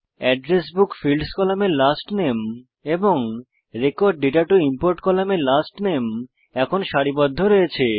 address book fields কলামে last নামে এবং রেকর্ড দাতা টো ইমপোর্ট কলামে লাস্ট নামে এখন সারিবদ্ধ রয়েছে